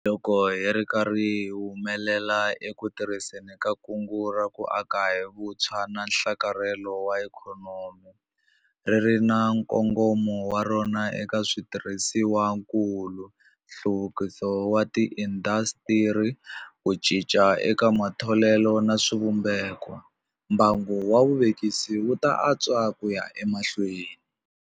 Loko hi ri karhi hi humelela eku tirhiseni ka Kungu ra ku Aka hi Vutshwa na Nhlakarhelo wa Ikhonomi - ri ri na nkongomo wa rona eka switirhisiwakulu, nhluvukiso wa tiindasitiri, ku cinca eka matholelo na swivumbeko - mbangu wa vuvekisi wu ta antswa ku ya emahlweni.